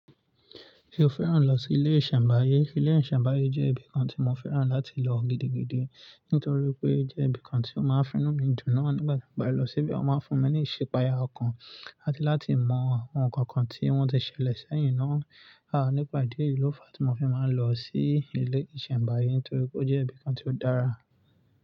Ṣé o fẹ́ràn lọ sí ilé ìṣẹ̀mbáyé? Ilé ìṣẹ̀mbáyé jẹ́ ibìkan tí mo fẹ́ràn láti lọ gidigidi nítorí pé jẹ́ ibìkan tí ó máa ń finú mi jù náà nígbà tí mo bá lọ síbẹ̀. Wọ́n máa ń fún mi ní ìṣèpẹ́aya ọkàn láti láti mọ àwọn ǹkan kan tí wọ́n ti ṣẹlẹ̀ sẹ́yìn náà. À nípa ìdí yìí ló fa tí mo fi máa ń lọ sí ilé ìṣẹ̀mbáyé nítorí ó jẹ́ ibìkan tí ó dára.